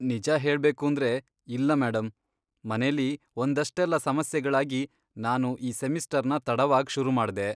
ನಿಜ ಹೇಳ್ಬೇಕೂಂದ್ರೆ, ಇಲ್ಲ ಮೇಡಂ, ಮನೇಲಿ ಒಂದಷ್ಟೆಲ್ಲ ಸಮಸ್ಯೆಗಳಾಗಿ ನಾನು ಈ ಸೆಮಿಸ್ಟರ್ನ ತಡವಾಗ್ ಶುರು ಮಾಡ್ದೆ.